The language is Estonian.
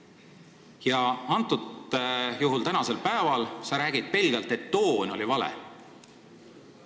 Ja nüüd sa ütled pelgalt, et toon oli vale.